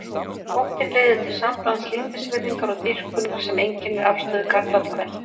Óttinn leiðir til samblands lítilsvirðingar og dýrkunar sem einkennir afstöðu karla til kvenna.